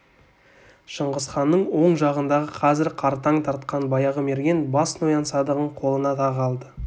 шыңғысханның оң жағындағы қазір қартаң тартқан баяғы мерген бас ноян садағын қолына тағы алды